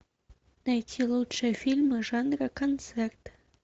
найти лучшие фильмы жанра концерт